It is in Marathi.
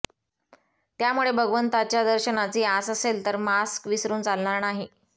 त्यामुळे भगवंताच्या दर्शनाची आस असेल तर मास्क विसरून चालणार नाही